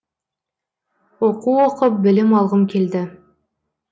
оқу оқып білім алғым келді